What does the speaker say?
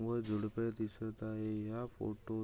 व झुडपे दिसत आहे या फोटोत --